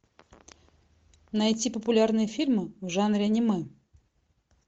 найти популярные фильмы в жанре аниме